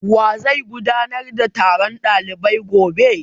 Wa zai gudanar da taron ɗalibai gobe?